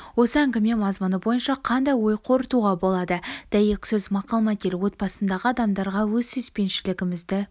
осы әңгіме мазмұны бойынша қандай ой қорытуға болады дәйек сөз мақал-мәтел отбасындағы адамдарға өз сүйіспеншілігімізді